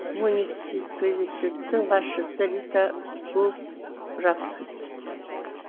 муниципалитеттің басшысы рита бургграф